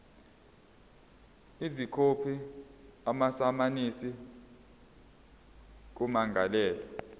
izokhipha amasamanisi kummangalelwa